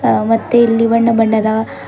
ಅ ಮತ್ತೆ ಇಲ್ಲಿ ಬಣ್ಣ ಬಣ್ಣದ--